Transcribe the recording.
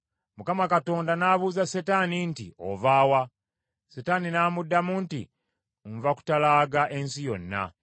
Mukama Katonda n’abuuza Setaani nti, “Ova wa?” Setaani n’amuddamu nti, “Nva kutalaaga ensi yonna.”